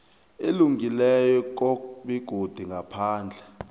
elungileko begodu ngaphandle